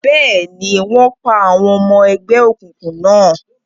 Bẹ́ẹ̀ni, wọ́n pa àwọn ọmọ ẹgbẹ́ òkùnkùn náà.